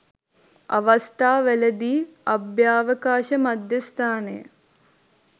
අවස්ථා වලදී අභ්‍යාවකාශ මධ්‍යස්ථානය